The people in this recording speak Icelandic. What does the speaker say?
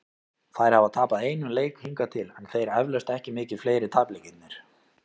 Þær hafa tapað einum leik hingað til, en þeir eflaust ekki mikið fleiri- tapleikirnir.